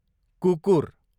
कुकुर